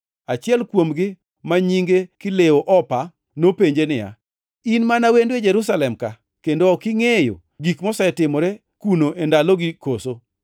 Achiel kuomgi, ma nyinge Kleopa, nopenje niya, “In mana wendo e Jerusalem ka kendo ok ingʼeyo gik mosetimore kuno e ndalogi koso?”